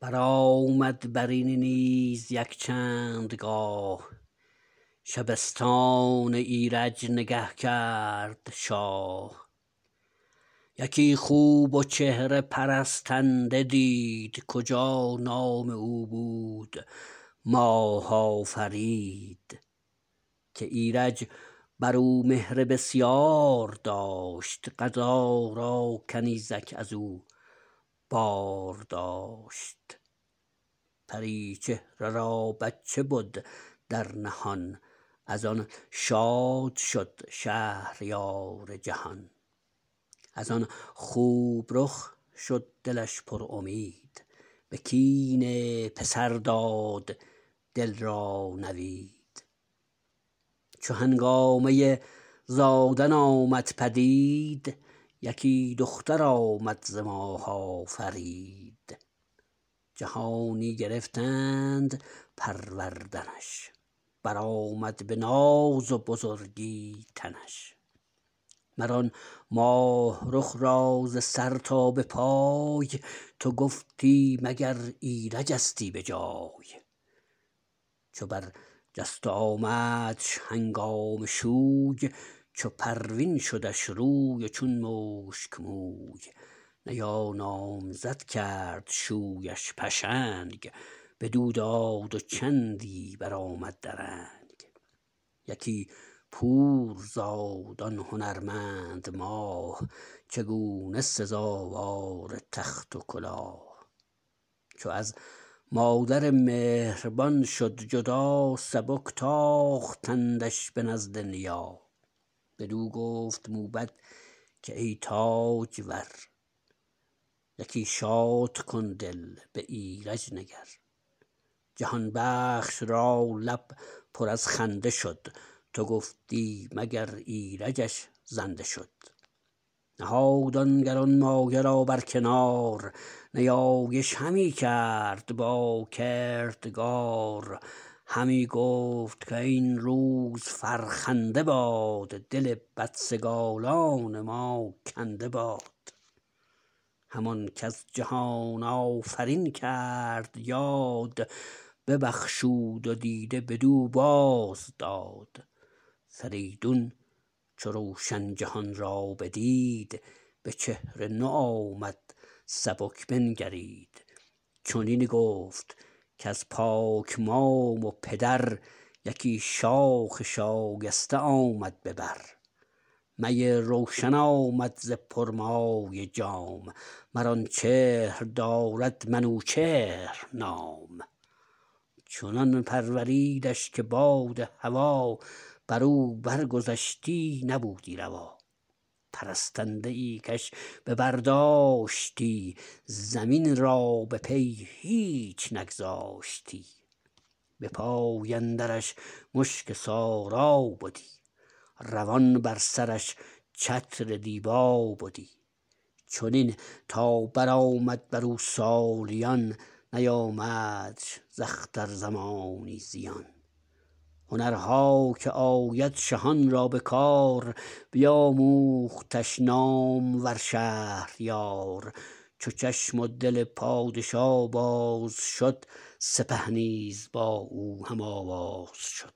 برآمد برین نیز یک چندگاه شبستان ایرج نگه کرد شاه یکی خوب و چهره پرستنده دید کجا نام او بود ماه آفرید که ایرج برو مهر بسیار داشت قضا را کنیزک ازو بار داشت پری چهره را بچه بود در نهان از آن شاد شد شهریار جهان از آن خوب رخ شد دلش پرامید به کین پسر داد دل را نوید چو هنگامه زادن آمد پدید یکی دختر آمد ز ماه آفرید جهانی گرفتند پروردنش برآمد به ناز و بزرگی تنش مر آن ماه رخ را ز سر تا به پای تو گفتی مگر ایرجستی به جای چو بر جست و آمدش هنگام شوی چو پروین شدش روی و چون مشک موی نیا نامزد کرد شویش پشنگ بدو داد و چندی برآمد درنگ یکی پور زاد آن هنرمند ماه چگونه سزاوار تخت و کلاه چو از مادر مهربان شد جدا سبک تاختندش به نزد نیا بدو گفت موبد که ای تاجور یکی شادکن دل به ایرج نگر جهان بخش را لب پر از خنده شد تو گفتی مگر ایرجش زنده شد نهاد آن گرانمایه را برکنار نیایش همی کرد با کردگار همی گفت کاین روز فرخنده باد دل بدسگالان ما کنده باد همان کز جهان آفرین کرد یاد ببخشود و دیده بدو باز داد فریدون چو روشن جهان را بدید به چهر نوآمد سبک بنگرید چنین گفت کز پاک مام و پدر یکی شاخ شایسته آمد به بر می روشن آمد ز پرمایه جام مر آن چهر دارد منوچهر نام چنان پروریدش که باد هوا برو بر گذشتی نبودی روا پرستنده ای کش به بر داشتی زمین را به پی هیچ نگذاشتی به پای اندرش مشک سارا بدی روان بر سرش چتر دیبا بدی چنین تا برآمد برو سالیان نیامدش ز اختر زمانی زیان هنرها که آید شهان را به کار بیاموختش نامور شهریار چو چشم و دل پادشا باز شد سپه نیز با او هم آواز شد